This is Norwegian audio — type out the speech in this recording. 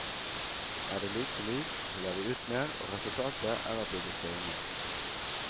Er det lite lys, skiller vi ut mer, og resultatet er at vi blir søvnige.